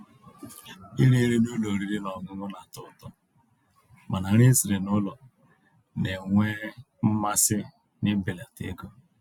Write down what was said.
Írì nrí n'ụ́lọ̀ ọ̀rị́rị́ ná ọ̀ṅụ̀ṅụ̀ ná-àtọ́ ụ̀tọ́, mànà nrí èsirí n'ụ́lọ̀ ná-ènwé mmàsí ná íbèlàtà égó.